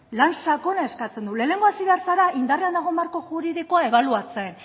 lan sakona eskatzen du lehenengo hasi behar zara indarrean dagoen marko juridikoa ebaluatzen